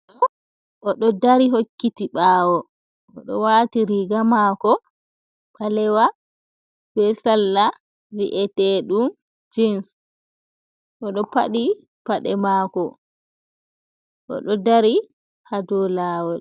O do dari hokkiti bawo, odo wati riga mako balewa, be salla vi’ete dum jens, odo padi pade mako, odo dari hado lawol.